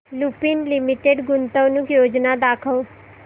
Lupin limited गुंतवणूक योजना दाखव